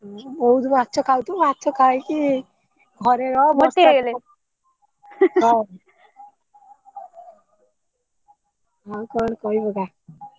ବହୁତ ମାଛ ଖାଉଥିବୁ ମାଛ ଖାଇକି ଘରେ ରହ ହଁ ଆଉ କଣ କହିପକା,